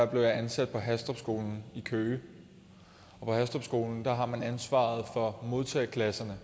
blev jeg ansat på hastrupskolen i køge på hastrupskolen har man ansvaret for modtageklasserne